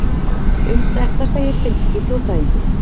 Um þetta segir finnski þjóðfræðingurinn